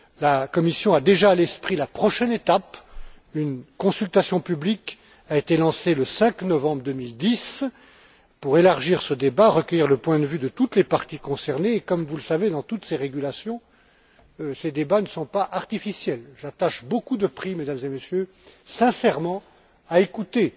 La Commission a déjà à l'esprit la prochaine étape, une consultation publique a été lancée le 5 novembre 2010 pour élargir ce débat, recueillir le point de vue de toutes les parties concernées et comme vous le savez, dans toutes ces régulations, ces débats ne sont pas artificiels. J'attache beaucoup de prix, Mesdames et Messieurs, sincèrement, à écouter